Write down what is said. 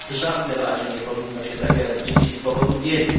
W żadnym razie nie powinno się zabierać dzieci z powodu biedy.